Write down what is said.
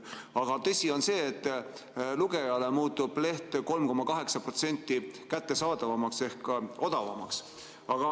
Aga tõsi on see, et lugejale muutub leht 3,8% kättesaadavamaks ehk odavamaks.